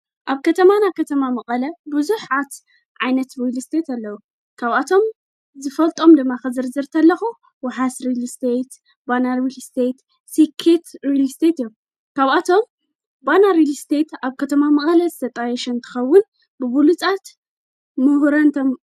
ኣብ ከተማናብ ኸተማ መቐለ ብዙኅ ዓት ዓይነት ሪሊስተት ኣለዉ ካብኣቶም ዝፈልጦም ድማ ኽዘር ዝርተ ለኹ ወሓስ ሪል ስተየት ባና ሪልስተት ሢኪት ሪሊስተት እዮም ካብኣቶም ባናርል ስተት ኣብ ከተማ መቐለ ዝተጣየሽንትኸውን ብብሉጻት ምሁረን ተም።